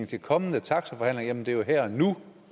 til kommende taxaforhandlinger jamen det er jo her og nu